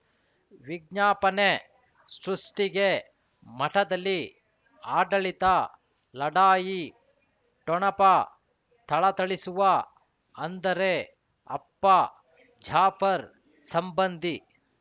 ವಿಜ್ಞಾಪನೆ ಸೃಷ್ಟಿಗೆ ಮಠದಲ್ಲಿ ಆಡಳಿತ ಲಢಾಯಿ ಠೊಣಪ ಥಳಥಳಿಸುವ ಅಂದರೆ ಅಪ್ಪ ಜಾಫರ್ ಸಂಬಂಧಿ